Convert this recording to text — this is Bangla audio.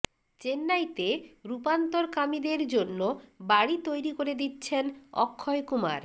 চেন্নাইতে রূপান্তরকামীদের জন্য বাড়ি তৈরি করে দিচ্ছেন অক্ষয় কুমার